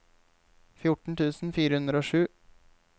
fjorten tusen fire hundre og sju